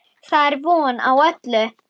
Það er von á öllu!